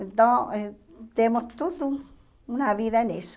Então temos tudo, uma vida nisso.